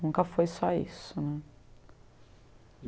Nunca foi só isso né.